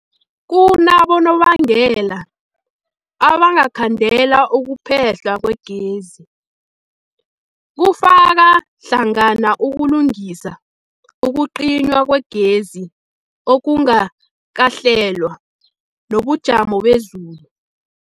Kunabonobangela abangakhandela ukuphehlwa kwegezi, kufaka hlangana ukulungisa, ukucinywa kwegezi okungakahlelwa, nobujamo bezulu.